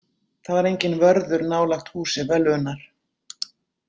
Það var enginn vörður nálægt húsi völvunnar.